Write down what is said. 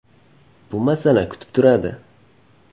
Bu masala kutib turadi.